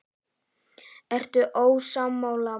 Ertu ósammála?